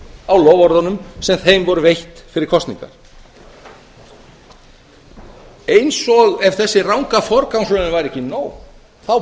á loforðum sem þeim voru veitt fyrir kosningar eins og ef þessi ranga forgangsröðun væri ekki nóg þá